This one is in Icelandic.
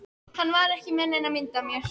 Hann var ekki með neina mynd af mér